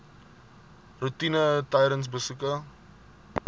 roetine tydens besoeke